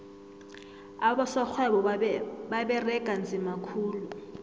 abosorhwebo baberega nzima khulu